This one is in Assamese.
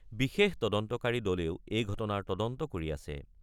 বিশেষ তদন্তকাৰী দলেও এই ঘটনাৰ তদন্ত কৰি আছে।